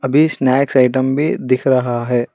अभी snacks item भी दिख रहा है।